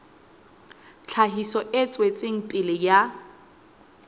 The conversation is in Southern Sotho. tlhahiso e tswetseng pele ya